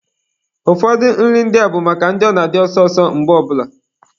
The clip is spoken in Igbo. Ụfọdụ nri ndị a bụ maka ndị ọ na-adị ọsọ ọsọ mgbe ọ bụla.